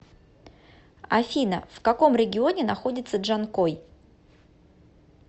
афина в каком регионе находится джанкой